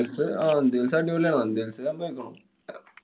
hills ആഹ് നന്ദി hills അടിപൊളി ആണ്. നന്ദി hills ലൊക്കെ